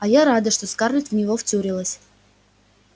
а я рада что скарлетт в него втюрилась